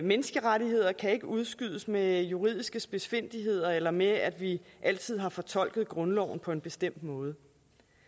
menneskerettigheder kan ikke udskydes med juridiske spidsfindigheder eller med at vi altid har fortolket grundloven på en bestemt måde